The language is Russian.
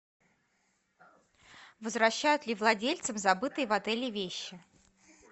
возвращают ли владельцам забытые в отеле вещи